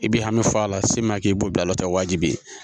I b'i hami fɔ a la siman k'i b'o bila a la wajibi